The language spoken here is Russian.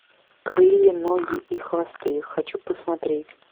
крылья ноги и хвосты хочу посмотреть